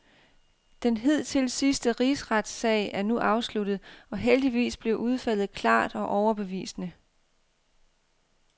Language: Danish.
Den hidtil sidste rigsretssag er nu afsluttet, og heldigvis blev udfaldet klart og overbevisende.